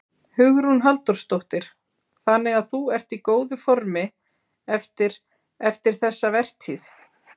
Hugrún Halldórsdóttir: Þannig að þú ert í góðu formi eftir, eftir þessa vertíð?